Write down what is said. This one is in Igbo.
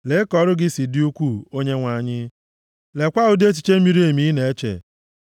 Lee ka ọrụ gị si dị ukwuu, Onyenwe anyị. Leekwa ụdị echiche miri emi ị na-eche.